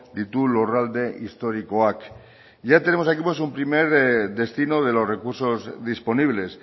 ditu lurralde historiakoak ya tenemos aquí un primer destino de los recursos disponibles